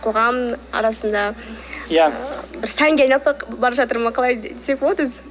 қоғам арасында иә бір сәнге айналып бара жатыр ма қалай десек болады өзі